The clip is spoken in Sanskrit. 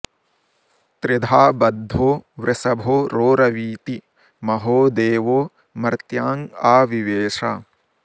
त्रिधा॑ ब॒द्धो वृ॑ष॒भो रो॑रवीति म॒हो दे॒वो मर्त्याँ॒ आ वि॑वेश